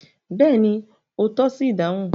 Bẹ́ẹ̀ni, o tọ́ṣi idáhùn